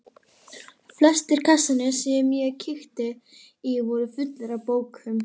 Flestir kassarnir sem ég kíkti í voru fullir af bókum.